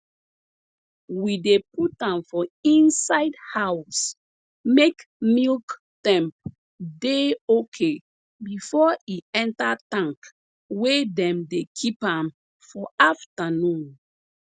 we dey put am for inside house make milk temp dey okay before e enter tank wey dem dey keep am for aftanun